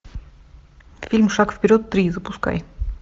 фильм шаг вперед три запускай